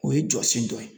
O ye jɔsen dɔ ye